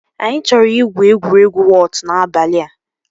Anyị chọrọ igwu egwuregwu wọt n'abalị a